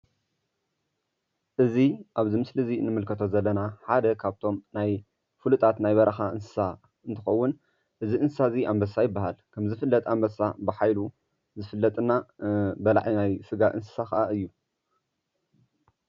እዚ ኣብዚ ምስሊ እዚ እንምልከቶ ዘለና ሓደ ካብቶም ናይ ፉሉጣት ናይ በረካ እንስሳ እንትከውን እዚ እንስሳ አንበሳ ይብሃል። ከም ዝፍለጥ አንበሳ ብሓይሉ ዝፍለጥ እና ከዓ በላዒ ናይ ስጋ እንስሳ እዩ፡፡